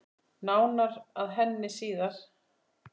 Nánar að henni síðar.